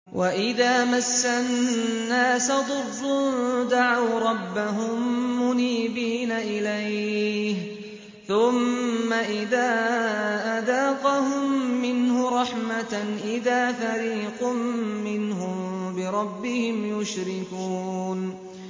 وَإِذَا مَسَّ النَّاسَ ضُرٌّ دَعَوْا رَبَّهُم مُّنِيبِينَ إِلَيْهِ ثُمَّ إِذَا أَذَاقَهُم مِّنْهُ رَحْمَةً إِذَا فَرِيقٌ مِّنْهُم بِرَبِّهِمْ يُشْرِكُونَ